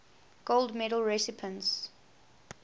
gold medal recipients